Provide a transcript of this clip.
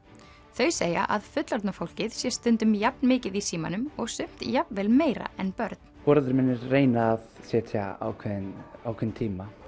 þau segja að fullorðna fólkið sé stundum jafn mikið í símanum og sumt jafnvel meira en börn foreldrar mínir reyna að setja ákveðinn ákveðinn tíma